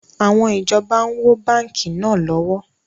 Àwọn ìjọba ń wó báńkì náà lọ́wọ́